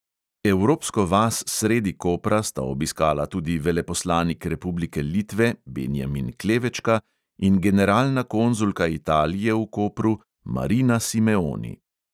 Evropsko vas sredi kopra sta obiskala tudi veleposlanik republike litve benjamin klevečka in generalna konzulka italije v kopru marina simeoni.